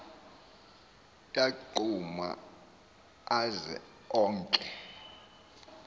yagquma aze onke